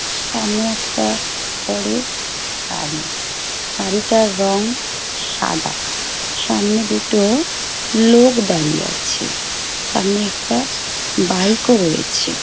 সামনে একটা বড় গাড়ি গাড়িটার রং সাদা সামনে দুটো লোক দাঁড়িয়ে আছে। সামনে একটা বাইক ও রয়েছে।